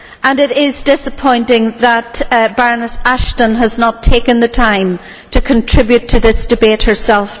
It is disappointing that Baroness Ashton has not taken the time to contribute to today's debate herself.